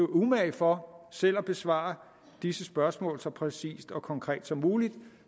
umage for selv at besvare disse spørgsmål så præcist og konkret som muligt